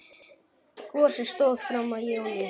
Gosið stóð fram í júní.